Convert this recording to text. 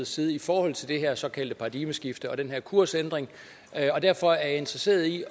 side i forhold til det her såkaldte paradigmeskifte og den her kursændring og derfor er jeg interesseret i at